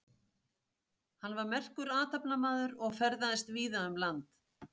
Hann var merkur athafnamaður og ferðaðist víða um land.